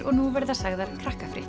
og nú verða sagðar